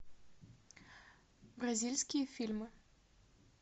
бразильские фильмы